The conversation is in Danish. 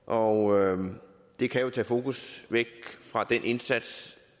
og det kan jo tage fokus væk fra den indsats